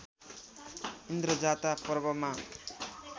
इन्द्रजात्रा पर्वमा